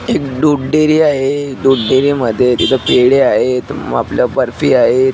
एक दूध डेअरी आहे दूध डेअरी मध्ये तिथे पेडे आहेत आपल्या बर्फी आहेत.